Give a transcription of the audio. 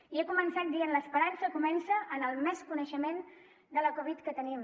i he començat dient l’esperança comença en el major coneixement de la covid que tenim